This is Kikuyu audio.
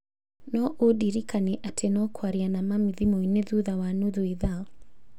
No ũndirikanie atĩ no kwaria na mami thimũ-inĩ thutha wa nuthu ithaa.